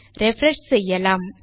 refresh செய்யலாம்